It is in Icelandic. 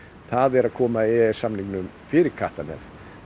það er að koma e e s samningnum fyrir kattarnef